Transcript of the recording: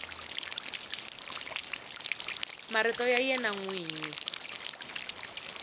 marito ya wena n wini